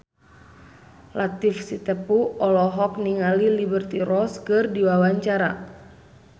Latief Sitepu olohok ningali Liberty Ross keur diwawancara